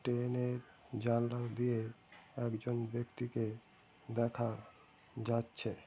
ট্রেনের জানালা দিয়ে একজন ব্যাক্তিকে দেখা যাচ্ছে।